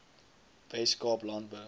wes kaap landbou